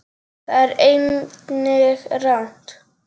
Það er einnig rangt.